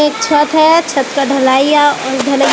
एक छत हैं छत का ढलइया अ धली--